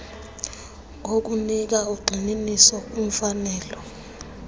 ngokunika ugxininiso kwimfanelo